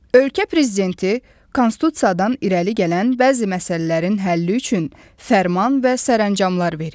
Ölkə prezidenti Konstitusiyadan irəli gələn bəzi məsələlərin həlli üçün fərman və sərəncamlar verir.